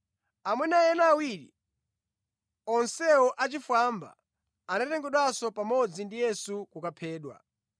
Amuna ena awiri, onsewo achifwamba, anatengedwanso pamodzi ndi Yesu kukaphedwa.